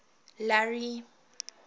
larry